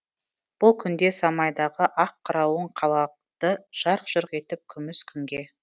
бұл күнде самайдағы ақ қырауың қалады жарқ жұрқ етіп күміс күнге